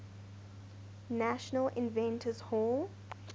national inventors hall